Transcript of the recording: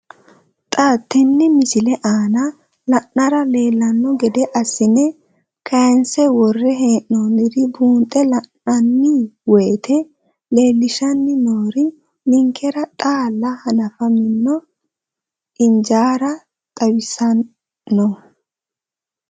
Xa tenne missile aana la'nara leellanno gede assine kayiinse worre hee'noonniri buunxe la'nanni woyiite leellishshanni noori ninkera xaalla hanafamino ijaara xawissanno.